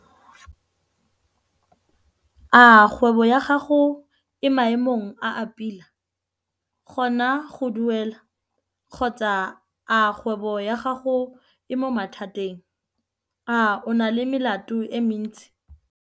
A kgwebo ya gago e mo maemong a a pila kgona go duela, kgotsa a kgwebo ya gago e mo mathateng? A o na le melato e mentsi?